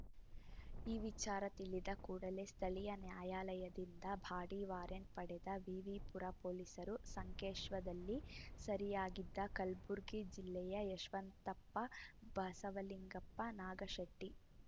ಈ ವಿಚಾರ ತಿಳಿದ ಕೂಡಲೇ ಸ್ಥಳೀಯ ನ್ಯಾಯಾಲಯದಿಂದ ಬಾಡಿ ವಾರೆಂಟ್‌ ಪಡೆದ ವಿವಿ ಪುರ ಪೊಲೀಸರು ಸಂಕೇಶ್ವದಲ್ಲಿ ಸೆರಿಯಾಗಿದ್ದ ಕಲ್ಬುರ್ಗಿ ಜಿಲ್ಲೆಯ ಯಶವಂತಪ್ಪ ಬಸವಲಿಂಗಪ್ಪ ನಾಗಶೆಟ್ಟಿ